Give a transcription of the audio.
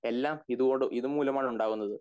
എല്ലാം ഇതോട് ഇത് മൂലം ആണ് ഉണ്ടാവുന്നത്